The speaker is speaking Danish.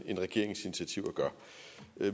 end regeringens initiativer gør